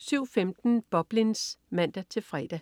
07.15 Boblins (man-fre)